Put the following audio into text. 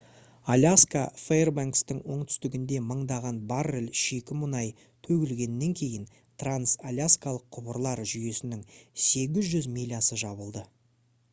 аляска фэйрбанкстың оңтүстігінде мыңдаған баррель шикі мұнай төгілгеннен кейін транс-аляскалық құбырлар жүйесінің 800 милясы жабылды